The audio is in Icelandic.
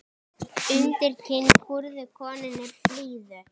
Undir kinn kúrðu konunni blíðu.